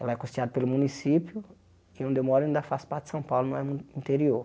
Lá é costeada pelo município e onde eu moro ainda faz parte de São Paulo, não é mu interior.